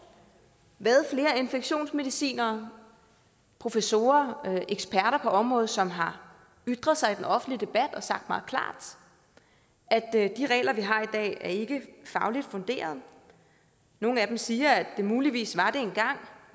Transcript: været flere infektionsmedicinere og professorer eksperter på området som har ytret sig i den offentlige debat og sagt meget klart at at de regler vi har i dag ikke er fagligt funderede nogle af dem siger at de muligvis var